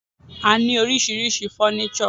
A ní oríṣiríṣi fọ́nísọ̀.